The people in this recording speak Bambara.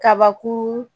Kabakuru